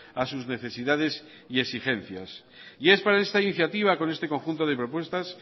a sus necesidades y exigencias y es para esta iniciativa con este conjunto de propuestas